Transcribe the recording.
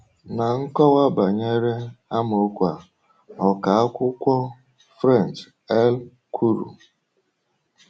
Na nkọwa banyere amaokwu a, ọkà akwụkwọ French L. kwuru.